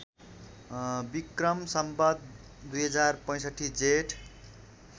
Vikram Samvat २०६५ Jeth